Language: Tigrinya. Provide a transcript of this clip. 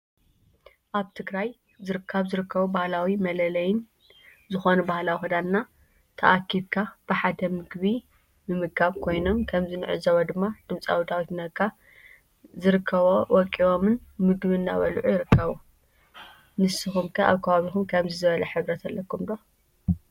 አብ ትግራይ ካብ ዝርከቡ ባህላዊ መለለይና ዝኮኑ ባህላዊ ክዳናን ተአኪብካ ብሓደ ምግቢ ምምጋብ ኮይኖም ከምዚ ንዕዞቦ ድማ ድምፃዊ ዳዊት ነጋ ዝርከቦ ወቂቦምን ምግብ እናበሉዑ ይርክቡ። ንስክም ከ አብ ከባቢኩም ከምዚ ዝብለ ሕብረት አለኩም ዶ?